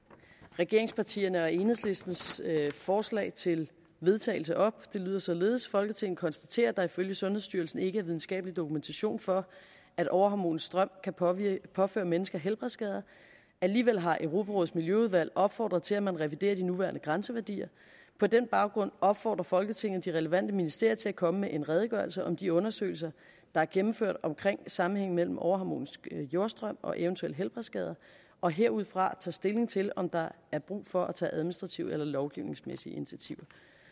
regeringspartierne og enhedslistens forslag til vedtagelse op det lyder således folketinget konstaterer at der ifølge sundhedsstyrelsen ikke er videnskabelig dokumentation for at overharmonisk strøm kan påføre påføre mennesker helbredsskader alligevel har europarådets miljøudvalg opfordret til at man reviderer de nuværende grænseværdier på den baggrund opfordrer folketinget de relevante ministerier til at komme med en redegørelse om de undersøgelser der er gennemført omkring sammenhængen mellem overharmonisk jordstrøm og eventuelle helbredsskader og herudfra tage stilling til om der er brug for at tage administrative eller lovgivningsmæssige initiativer